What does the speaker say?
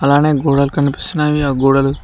అలానే గోడలు కనిపిస్తున్నాయి ఆ గోడలు--